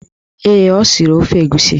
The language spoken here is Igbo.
Ee, o siri ofe egusi